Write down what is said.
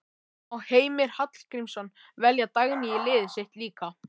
Má Heimir Hallgríms velja Dagný í liðið sitt líka?